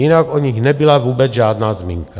Jinak o nich nebyla vůbec žádná zmínka.